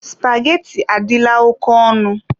Supageti adịla oke ọnụ.